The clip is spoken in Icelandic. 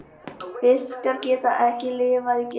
Fiskar geta ekki lifað í geimnum.